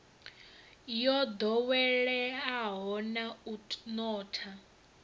yo ḓoweleaho na u notha